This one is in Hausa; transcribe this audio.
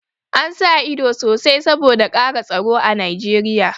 An sa ido sosai saboda ƙara tsaro a Nijeriya